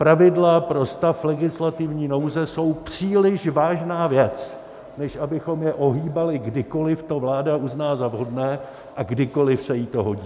Pravidla pro stav legislativní nouze jsou příliš vážná věc, než abychom je ohýbali, kdykoli to vláda uzná za vhodné a kdykoli se jí to hodí.